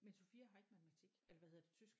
Men Sophia har ikke matematik eller hvad hedder det tysk